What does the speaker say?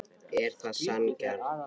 Er það sanngjarnt?